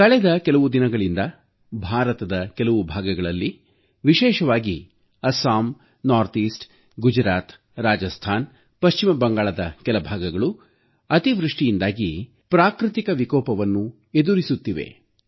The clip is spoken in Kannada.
ಕಳೆದ ಕೆಲವು ದಿನಗಳಿಂದ ಭಾರತದ ಕೆಲವು ಭಾಗಗಳಲ್ಲಿ ವಿಶೇಷವಾಗಿ ಅಸ್ಸಾಂ ಈಶಾನ್ಯ ಭಾಗ ಗುಜರಾತ್ ರಾಜಸ್ತಾನ ಪಶ್ಚಿಮ ಬಂಗಾಳದ ಕೆಲ ಭಾಗಗಳು ಅತಿವೃಷ್ಟಿಯಿಂದಾಗಿ ಪ್ರಾಕೃತಿಕ ವಿಕೋಪವನ್ನು ಎದುರಿಸುತ್ತಿವೆ